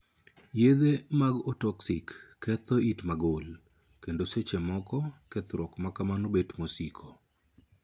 Yedhe mag 'ototoxic' ketho it magul, kendo seche moko kethruok ma kamano bet mosiko.